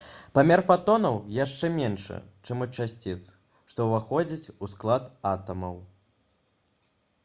памер фатонаў яшчэ меншы чым у часціц што ўваходзяць у склад атамаў